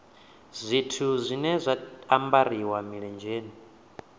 zwithu zwine zwa ambariwa milenzheni